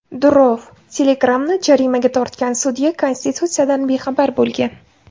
Durov: Telegram’ni jarimaga tortgan sudya konstitutsiyadan bexabar bo‘lgan.